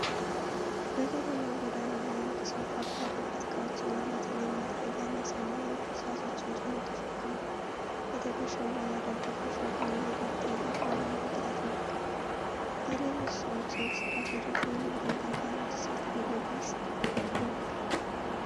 በከተማ ጎዳና ላይ አንድ ሰው ከባድ የቤት እቃዎችን፣ በተለይም መጥረጊያና ሰማያዊ ቅርጫቶችን ጭኖ ተሸክሟል። በትከሻው ላይ ያደረገው ሸክም የዕለት ተዕለት ኑሮን ብርታት ይወክላል። የሌሎች ሰዎች እንቅስቃሴ ደግሞ የንግዱን ጠንካራ ተሳትፎ በግልጽ ይወክላል።